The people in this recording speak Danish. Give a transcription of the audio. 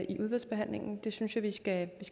i udvalgsbehandlingen det synes jeg vi skal